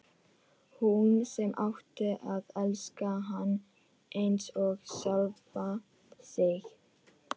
Hún sem átti að elska hann eins og sjálfa sig.